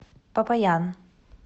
попаян